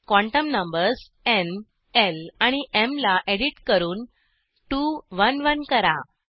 quantum numbers न् ल आणि एम ला एडिट करून 2 1 1 करा